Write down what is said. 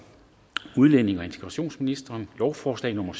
udlændinge og integrationsministeren lovforslag nummer